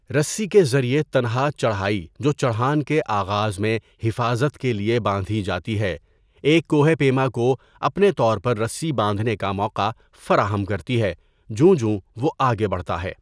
رسّی کے ذریعے تنہا چڑھائی جو چڑھان کے آغاز میں حفاظت کے لیے باندھی جاتی ہے ایک کوہ پیما کو اپنے طور پر رسّی باندھنے کا موقع فراہم کرتی ہے جوں جو وہ آگے بڑھتا ہے.